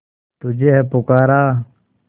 तुझे है पुकारा